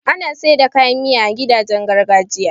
ana saida kayan Miya a gidajen gargajiya